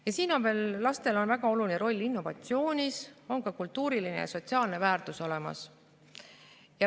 Lastel on veel väga oluline roll innovatsioonis ja on ka kultuuriline ja sotsiaalne väärtus olemas.